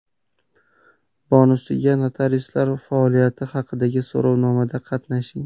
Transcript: Bonusiga notariuslar faoliyati haqidagi so‘rovnomada qatnashing !